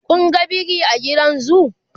Kun ga biri a gidan zoo?